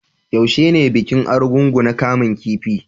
Yaushe ne bikin Argungu na kaman kifi?